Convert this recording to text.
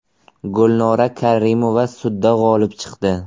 Gulnora Karimova sudda g‘olib chiqdi.